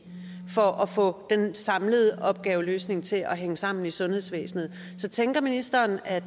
for at få den samlede opgaveløsning til at hænge sammen i sundhedsvæsenet så tænker ministeren at